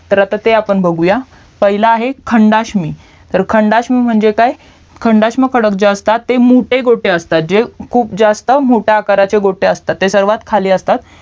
तर आता ते आपण बघूयात पहिलं आहे खंडाष्मी तर खंडाष्मी म्हणजे काय खंडाष्म खडक जे असतात ते मोटे गोटे असतात जे खूप जास्त मोठ्या आकाराचे गोटे असतात ते सर्वात खाली असतात